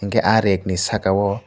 keha reg ni saka o.